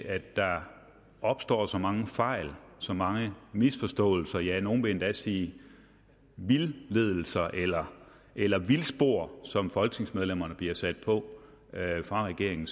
at der opstår så mange fejl så mange misforståelser ja nogle vil endda sige vildledelser eller eller vildspor som folketingsmedlemmerne bliver sat på af regeringen